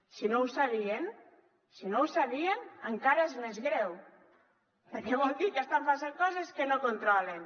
si no ho sabien encara és més greu perquè vol dir que estan passant coses que no controlen